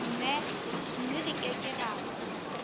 mme re ke ke ra